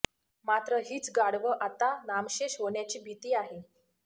मात्र हीच गाढवं आता नामशेष होण्याची भीती आहे